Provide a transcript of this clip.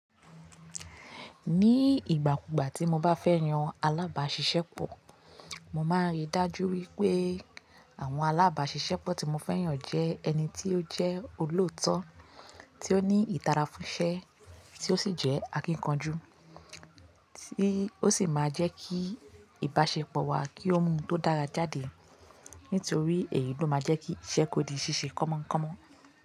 Ní ìgbà kugbà tí mo bá fẹ́ yan alábáṣiṣẹ́pọ̀, mo máa rí i dájú wípé àwọn alábáṣiṣẹ́pọ̀ tí mo fẹ́ yàn jẹ́ ẹni tí ó jẹ́ olóòótọ́, tí ó ní ìdára fún iṣẹ́, tí ó sì jẹ́ akíkanjú. Tí ó sì máa jẹ́ kí ìbáṣepọ̀ wa kí ó mú oun tó dára jáde nítorí èyí ló máa jẹ́ kí iṣẹ́ kò di ṣíṣe kọ́mọ́nkọ́mọ́.